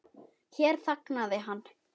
Hér þagnaði hann.